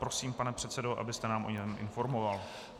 Prosím, pane předsedo, abyste nás o něm informoval.